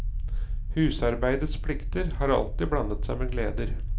Husarbeidets plikter har alltid blandet seg med gleder.